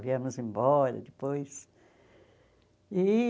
Viemos embora depois. E